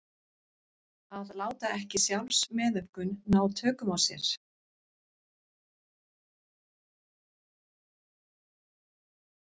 Að láta ekki sjálfsmeðaumkun ná tökum á sér.